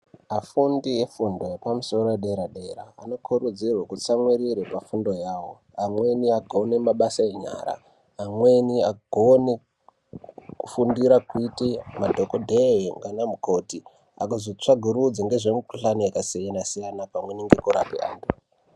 Afundi efundo yepamusoro yedera-dera anokurudzirwe kutsamwirire pafundo yavo. Amweni agone mabasa enyara, aweni agone kufundira kuite madhogodhee ngaana mukoti. Agozotsvagurudze ngezvemikuhlani yakasiyana-siyana pamweni ngekurape antu.